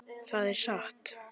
Það er satt.